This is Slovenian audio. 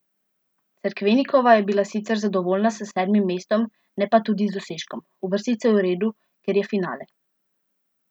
Cerkvenikova je bila sicer zadovoljna s sedmim mestom, ne pa tudi z dosežkom: "Uvrstitev je v redu, ker je finale.